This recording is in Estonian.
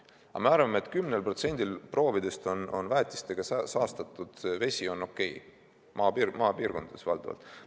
Aga me arvame, et on okei, kui 10% proovidest on väetistega saastatud vesi, maapiirkondades valdavalt.